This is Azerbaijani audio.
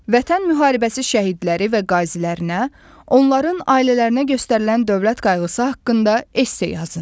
Vətən müharibəsi şəhidləri və qazilərinə, onların ailələrinə göstərilən dövlət qayğısı haqqında esse yazın.